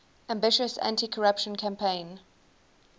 ambitious anticorruption campaign